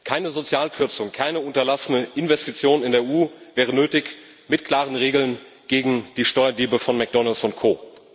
Keine Sozialkürzung, keine unterlassene Investition in der EU wäre nötig mit klaren Regeln gegen die Steuerdiebe von McDonalds und Co.